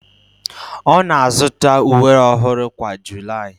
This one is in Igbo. Ọ na-azụta uwe ọhụrụ kwa July